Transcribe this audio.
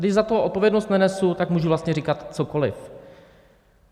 Když za to odpovědnost nenesu, tak můžu vlastně říkat cokoli.